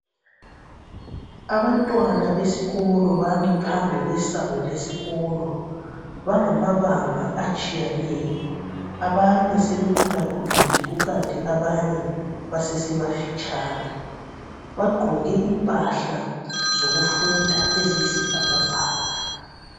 Abantwana besikolo bami phambi kwesango lesikolo. Bangamabanga atshiyeneyo, abanye sebekhulakhulile kukanti abanye basesebafitshane. Bagqoke impahla zokufunda eziyisibhakabhaka.